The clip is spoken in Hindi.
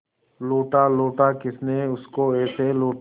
लूटा लूटा किसने उसको ऐसे लूटा